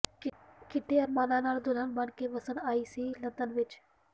ਕਿੱਡੇ ਅਰਮਾਨਾਂ ਨਾਲ ਦੁਲਹਨ ਬਣ ਕੇ ਵਸਣ ਆਈ ਸੀ ਲੰਦਨ ਵਿਚ